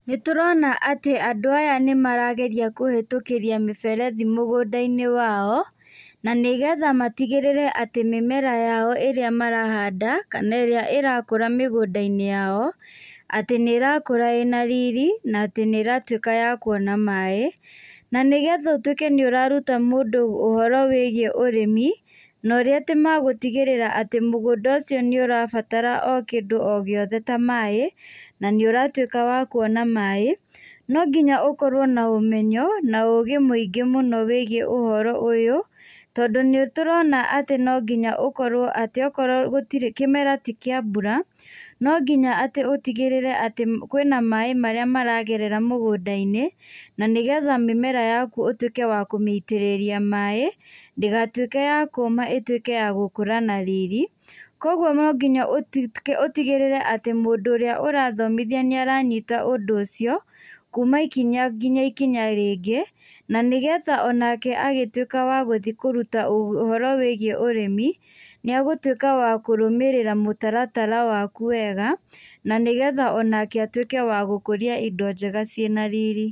Nĩtũrona atĩ andũ aya nĩ marageria kũhetũkĩria mĩberethi mũgũnda-inĩ wao na nĩgetha matigĩrĩre atĩ mĩmera ĩrĩa marahanda kana ĩrĩa ĩrakũra mĩgũnda-inĩ yao atĩ nĩ ĩrakũra ĩna riri na nĩĩratuĩka ya kuona maĩ. Na nĩgetha ũtwĩke nĩ ũraruta mũndũ ũrĩmi na ũrĩa atĩ magũtigĩrĩra atĩ mũgũnda ũcio atĩ nĩũrabatara o kĩndũ o gĩothe ta maĩ, na nĩũratuĩka wa kuona maĩ, no nginya ũkorwo na ũmenyo na ũgĩ mũingĩ mũno wĩgiĩ ũhoro ũyũ tondũ nĩ tũrona atĩ no nginya akorwo kĩmera ti kĩambura, no nginya atĩ ũtigĩrĩre atĩ kwĩna maĩ marĩa maragerera mũgũnda-inĩ na nĩgetha mĩmera yaku ũtwĩke wa kũmĩitĩrĩria maĩ ndĩgatuĩke ya kũma ĩkũre na riri, kũoguo no nginya ũtigĩrĩre atĩ mũndũ ũrĩa ũrathomithia nĩ aranyita ũndũ ũcio kuma ikinya nginya ikinya rĩngĩ na nĩgetha onake agĩtuĩka wagũthiĩ kũruta ũhoro wĩgiĩ ũrĩmi nĩ agũtwĩka wa kũrũmĩrĩra mũtaratara waku wega na nĩgetha onake atuĩke wa gũkũria indo njega ina riri.